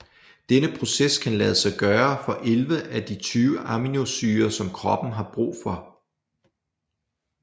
Denne proces kan lade sig gøre for 11 af de 20 aminosyrer som kroppen har brug for